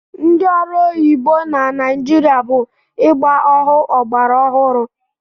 Ndị ọrụ oyibo na Naịjirịa bụ ịgba ohu ọgbara ọhụrụ.